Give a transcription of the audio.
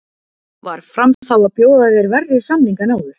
Var Fram þá að bjóða þér verri samning en áður?